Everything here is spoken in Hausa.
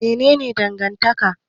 Mene ne dangantaka?